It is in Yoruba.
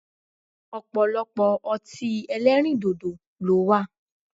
Ọ̀pọ̀lọpọ̀ ọtí ẹlẹ́rìndòdò ló wà